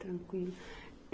Tranquilo.